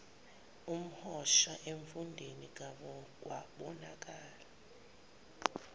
komhosha emfundeni kwabonakala